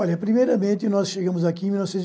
Olha, primeiramente, nós chegamos aqui em mil